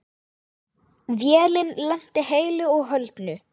Vélin lenti heilu og höldnu.